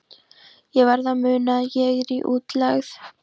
Ég verð að muna að ég er í útlegð.